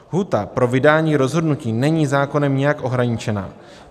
Lhůta pro vydání rozhodnutí není zákonem nijak ohraničena.